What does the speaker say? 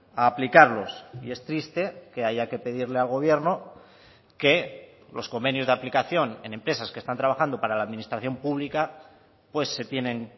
a aplicarlos y es triste que haya que pedirle al gobierno que los convenios de aplicación en empresas que están trabajando para la administración pública pues se tienen